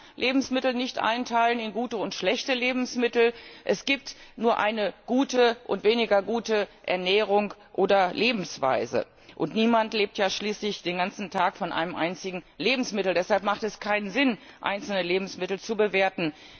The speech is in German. Man kann Lebensmittel nicht einteilen in gute und schlechte Lebensmittel, es gibt nur eine gute und weniger gute Ernährung oder Lebensweise. Und niemand lebt ja schließlich den ganzen Tag von einem einzigen Lebensmittel. Deshalb hat es keinen Sinn, einzelne Lebensmittel zu bewerten.